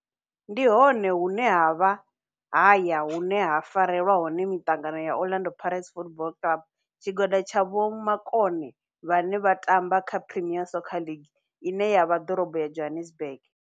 Ndi hone hune havha haya hune ha farelwa hone mitangano ya Orlando Pirates Football Club. Tshigwada tsha vhomakone vhane vha tamba kha Premier Soccer League ine ya vha Dorobo ya Johannesburg.